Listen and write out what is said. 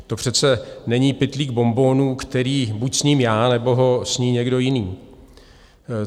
To přece není pytlík bonbonů, který buď sním já, nebo ho sní někdo jiný.